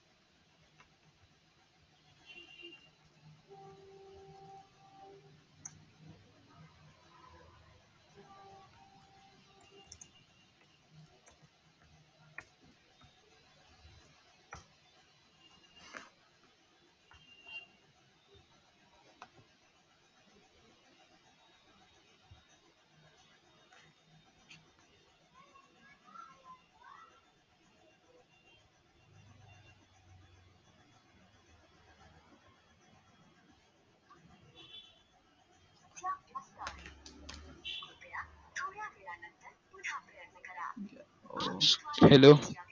hello